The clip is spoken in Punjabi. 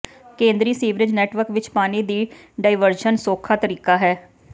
ਕੇਂਦਰੀ ਸੀਵਰੇਜ ਨੈਟਵਰਕ ਵਿੱਚ ਪਾਣੀ ਦੀ ਡਾਇਵਰਸ਼ਨ ਸੌਖਾ ਤਰੀਕਾ ਹੈ